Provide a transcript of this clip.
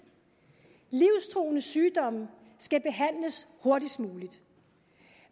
livstruende sygdomme skal behandles hurtigst muligt